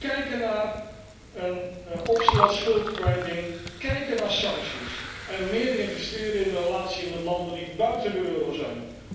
Kijken naar een optie als schuldkwijting, kijken naar sancties en meer investeren in de relatie met landen die buiten de euro zijn.